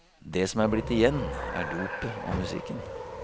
Det som er blitt igjen, er dopet og musikken.